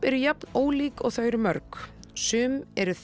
eru jafn ólík og þau eru mörg sum eru